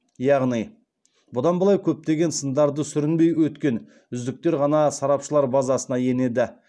яғни бұдан былай көптеген сындарды сүрінбей өткен үздіктер ғана сарапшылар базасына енеді